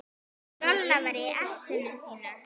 Lolla var í essinu sínu.